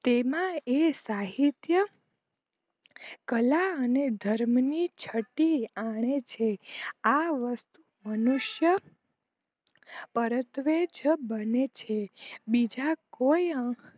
તેમાં એ સાહિત્ય કલા અને ધર્મ ની છત્તી આણે છે આ મનુષ્ય પરત્વે જ બને છે